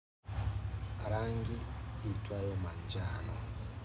Rangi iitwayo manjano.